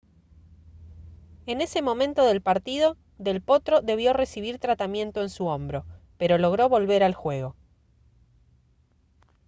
en ese momento del partido del potro debió recibir tratamiento en su hombro pero logró volver al juego